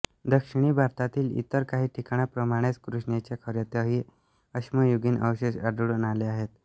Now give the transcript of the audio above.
दक्षिणी भारतातील इतर काही ठिकाणांप्रमाणेच कृष्णेच्या खोऱ्यातही अश्मयुगीन अवशेष आढळून आले आहेत